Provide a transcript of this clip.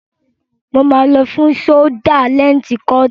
Mo máa lọ fún ṣólúdá lẹǹtì kọọ̀tì.